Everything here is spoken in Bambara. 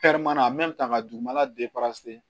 ta ka dugumana